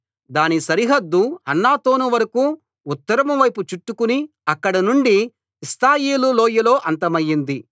దాని సరిహద్దు హన్నాతోను వరకూ ఉత్తరం వైపు చుట్టుకుని అక్కడనుండి ఇప్తాయేలు లోయలో అంతమయింది